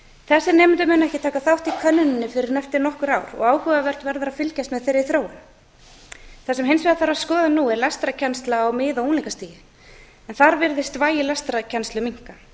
þessir nemendur munu ekki aka þátt í könnuninni fyrr en eftir nokkur ár og áhugavert verður að fylgjast með þeirri þróun það sem hins vegar þarf að skoða nú er lestrarkennsla á mið og unglingastigi en þar virðist vægi lestrarkennslu minnka